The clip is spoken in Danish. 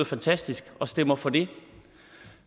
fantastisk og stemmer for det